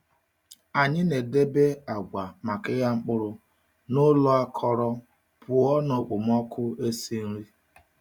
A na-edebe agwa maka ịgha mkpụrụ n’ụlọ akọrọ, pụọ na okpomọkụ esi nri.